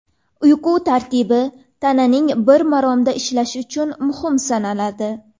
Uyqu tartibi tananing bir maromda ishlashi uchun muhim sanaladi.